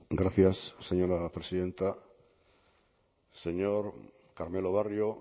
gracias señora presidenta señor carmelo barrio